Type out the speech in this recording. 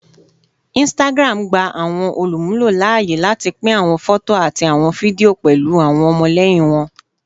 Instagram gba awọn olumulo laaye lati pin awọn fọto ati awọn fidio pẹlu awọn ọmọlẹyin wọn